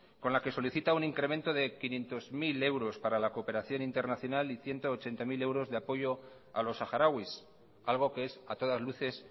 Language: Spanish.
con la que solicita un incremento de quinientos mil euros para la cooperación internacional y ciento ochenta mil euros de apoyo a los saharauis algo que es a todas luces